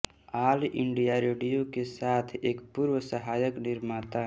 all India Radio के साथ एक पूर्व सहायक निर्माता